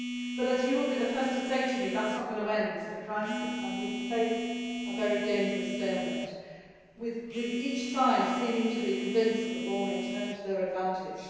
But as you will be the first to say to me, that is not going to end the crisis and we face a very dangerous stalemate with each side seeming to be convinced that the war may turn to their advantage.